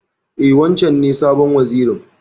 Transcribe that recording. E, wancen ne sabon Wazirin.